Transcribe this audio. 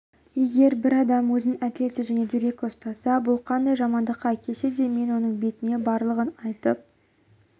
егер бір адам өзін әділетсіз және дөрекі ұстаса бұл қандай жамандыққа әкелсе де мен оның бетіне барлығын айтып